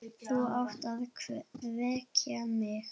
Þú átt að vekja mig.